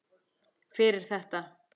Fyrir þetta.